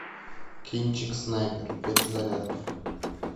кинчик снайпер перезарядка